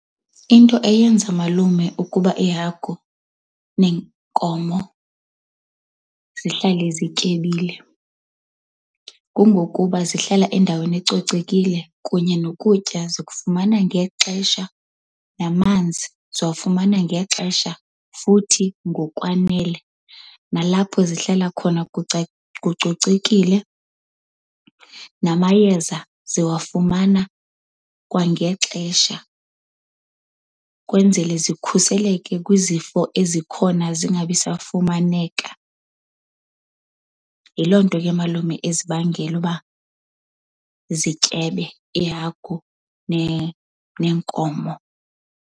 Into eyenza malume ukuba iihagu neenkomo zihlale zityebile kungokuba zihlala endaweni ecocekile kunye nokutya zikufumana ngexesha, namanzi ziwafumana ngexesha futhi ngokwanele. Nalapho zihlala khona kucocekile, namayeza ziwafumana kwangexesha kwenzele zikhuseleke kwizifo ezikhona, zingabisafumaneka. Yiloo nto ke malume ezibangela uba zityebe iihagu neenkomo.